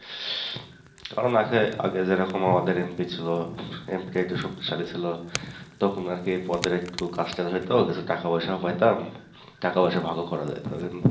কারণ আছে আগে যেরকম আমাদের MP টা একটু শক্তিশালী ছিল তখন আর কি পদের একটু কাজটাজ হয়তো, একটু টাকা-পয়সাও পাইতাম টাকা পয়সা ভাগও করা যায় তো,